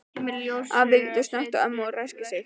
Afi lítur snöggt á ömmu og ræskir sig.